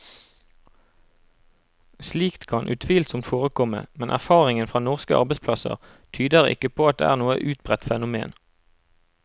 Slikt kan utvilsomt forekomme, men erfaringen fra norske arbeidsplasser tyder ikke på at det er noe utbredt fenomen.